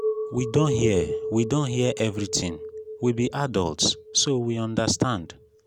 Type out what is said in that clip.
we don hear we don hear everything we be adults so we understand